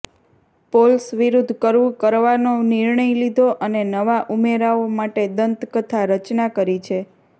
poles વિરુદ્ધ કરવું કરવાનો નિર્ણય લીધો અને નવા ઉમેરાઓ માટે દંતકથા રચના કરી છે